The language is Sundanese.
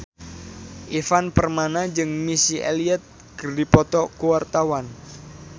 Ivan Permana jeung Missy Elliott keur dipoto ku wartawan